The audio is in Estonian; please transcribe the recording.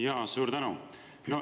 Jaa, suur tänu!